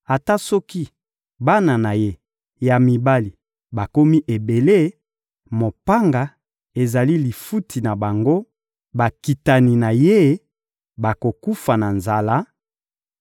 Ata soki bana na ye ya mibali bakomi ebele, mopanga ezali lifuti na bango, bakitani na ye bakokufa na nzala,